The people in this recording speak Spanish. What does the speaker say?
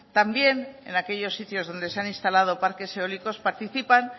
también en aquellos sitios donde se han instalado parques eólicos participan